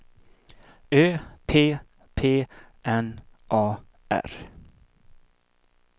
Ö P P N A R